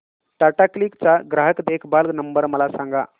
Tata Cliq चा ग्राहक देखभाल नंबर मला सांगा